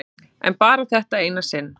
En bara þetta eina sinn.